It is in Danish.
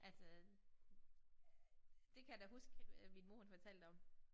Altså det kan jeg da huske at min mor hun fortalte om